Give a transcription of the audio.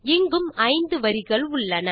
இங்கும் 5 வரிகள் உள்ளன